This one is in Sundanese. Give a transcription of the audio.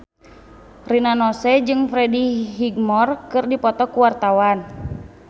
Rina Nose jeung Freddie Highmore keur dipoto ku wartawan